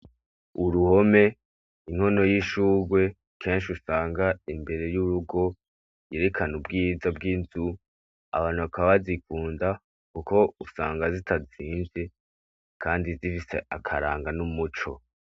Uruhome inkono y'ishugwe kenshi usanga imbere y'urugo yerekana ubwiza bw'inzu. Abantu bakaba bazikunda kuko usinga zitazimvye kandi zifise akaranga nu muco.